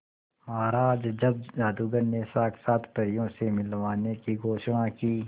महाराज जब जादूगर ने साक्षात परियों से मिलवाने की घोषणा की